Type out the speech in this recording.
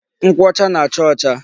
Nkwụ ọcha na-acha ọcha.